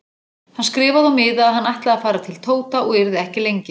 Hann skrifaði á miða að hann ætlaði að fara til Tóta og yrði ekki lengi.